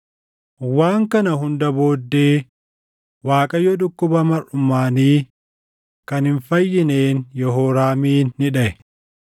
Waan kana hundaa booddee Waaqayyo dhukkuba marʼumaanii kan hin fayyineen Yehooraamin ni dhaʼe.